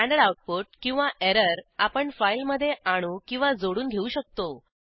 standard output किंवा error आपण फाईलमधे आणू किंवा जोडून घेऊ शकतो